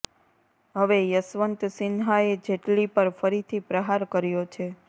હવે યશવંત સિંહાએ જેટલી પર ફરીથી પ્રહાર કર્યો છે